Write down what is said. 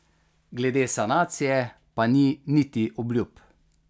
Glede sanacije pa ni niti obljub.